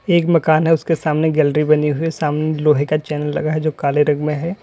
एक मकान है उसके सामने गैलरी बनी हुई है सामने लोहे का चैनल लगा है जो काले रंग में है।